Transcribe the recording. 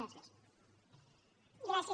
gràcies